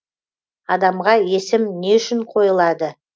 адамға есім не үшін қойылады